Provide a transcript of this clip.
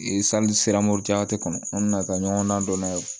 kɔnɔ n nana ka ɲɔgɔn na dɔ n'a ye